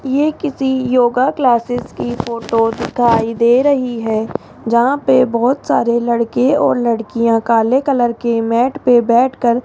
ये किसी योगा क्लासेस की फोटो दिखाई दे रही है जहां पे बहोत सारे लड़के और लड़कियां काले कलर के मैट पे बैठकर --